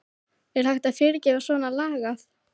Er hægt að fyrirgefa svona lagað?